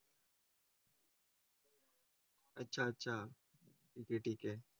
. अच्छा अच्छा ठीक आहे ठीक आहे.